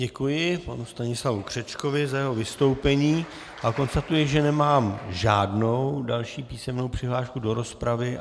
Děkuji panu Stanislavu Křečkovi za jeho vystoupení a konstatuji, že nemám žádnou další písemnou přihlášku do rozpravy.